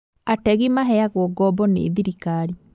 Ategi maheagwo ngoombo nĩ thirikari